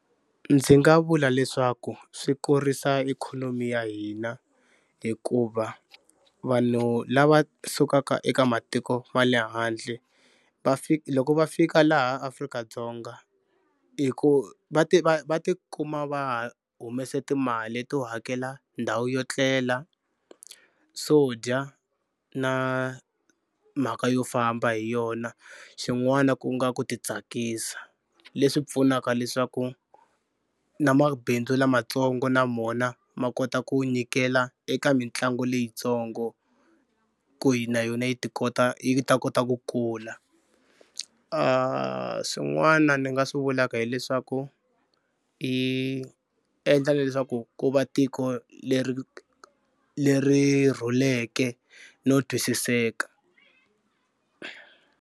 Ndzi nga vula leswaku swi kurisa ikhonomi ya hina hikuva vanhu lava sukaka eka matiko ma le handle va loko va fika laha Afrika-Dzonga hi ku va ti va va tikuma va humese timali to hakela ndhawu yo etlela, swo dya na mhaka yo famba hi yona. Xin'wana ku nga ku titsakisa leswi pfunaka leswaku na mabindzu lamatsongo na mona ma kota ku nyikela eka mitlangu leyitsongo ku yi na yona yi ti kota yi ta kota ku kula. Swin'wana ni nga swi vulaka hileswaku yi endla leswaku ku va tiko leri leri rhuleke no twisiseka.